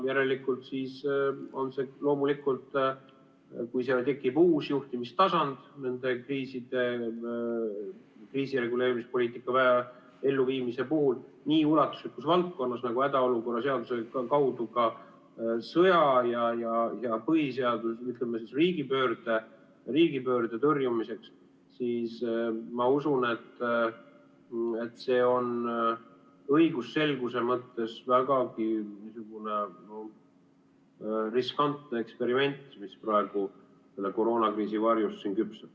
Järelikult, kui tekib uus juhtimistasand selle kriisireguleerimispoliitika elluviimise puhul nii ulatuslikus valdkonnas nagu hädaolukorra seaduse kaudu sõja ja riigipöörde tõrjumiseks, siis ma usun, et see on õigusselguse mõttes vägagi riskantne eksperiment, mis praegu koroonakriisi varjus siin küpseb.